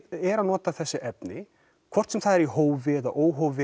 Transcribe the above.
er að nota þessi efni hvort sem það er í hófi eða óhófi